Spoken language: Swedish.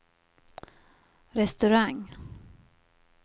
restaurang